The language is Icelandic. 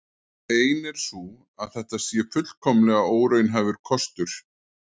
Ein er sú að þetta sé fullkomlega óraunhæfur kostur.